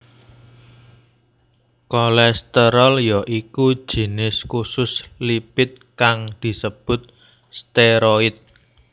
Kolesterol ya iku jinis khusus lipid kang disebut steroid